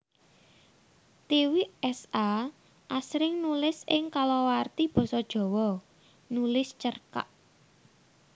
Tiwik S A asring nulis ing kalawarti basa Jawa nulis cerkak